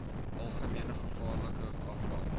algemene gevaarlike afval